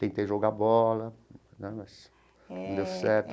Tentei jogar bola, mas não deu certo.